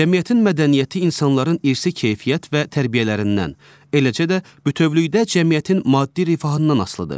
Cəmiyyətin mədəniyyəti insanların irsi keyfiyyət və tərbiyələrindən, eləcə də bütövlükdə cəmiyyətin maddi rifahından asılıdır.